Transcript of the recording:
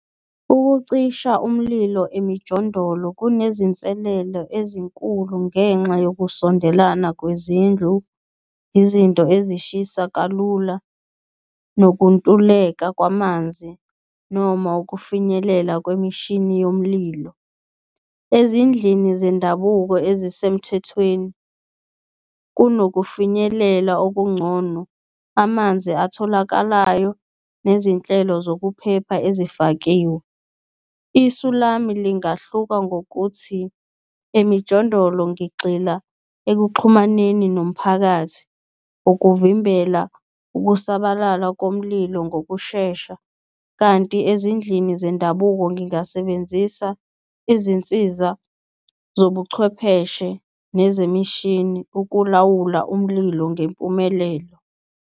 Ukucisha umlilo emijondolo kunezinselele ezinkulu ngenxa yokusondelana kwezindlu, izinto ezishisa kalula, nokuntuleka kwamanzi, noma ukufinyelela kwemishini yomlilo. Ezindlini zendabuko ezisemthethweni kunokufinyelela okuncono, amanzi atholakalayo nezinhlelo zokuphepha ezifakiwe. Isu lami lingahluka ngokuthi emijondolo ngigxila ekuxhumaneni nomphakathi, ukuvimbela ukusabalala komlilo ngokushesha kanti ezindlini zendabuko, ngingasebenzisa izinsiza zobuchwepheshe nezemishini, ukulawula umlilo ngempumelelo.